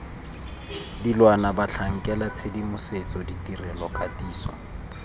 dilwana batlhankela tshedimosetso ditirelo katiso